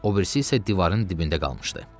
Obirisi isə divarın dibində qalmışdı.